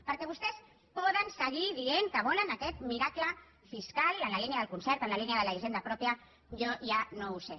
perquè vostès poden seguir dient que volen aquest miracle fiscal en la línia del concert en la línia de la hisenda pròpia jo ja no ho sé